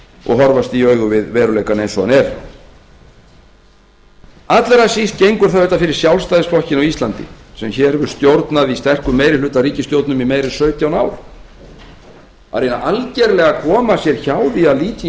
og horfast í augu við veruleikann eins og hann er allra síst gengur það auðvitað fyrir sjálfstæðisflokkinn á íslandi sem hér hefur stjórnað í sterkum meirihlutaríkisstjórnum í meira en sautján ár að algerlega koma sér hjá því að líta í